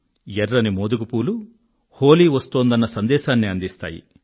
ఎర్రని మోదుగ పూలు హోలీ వస్తోందన్న సందేశాన్ని అందిస్తాయి